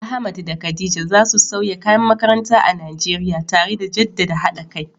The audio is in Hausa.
Ahmad da Khadija za su sauya kayan makaranta a Najeriya, tare da jaddada haɗa kai.